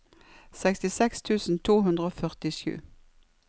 sekstiseks tusen to hundre og førtisju